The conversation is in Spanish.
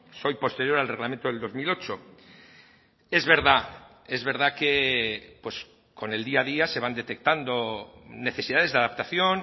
soy posterior al reglamento del dos mil ocho es verdad es verdad que con el día a día se van detectando necesidades de adaptación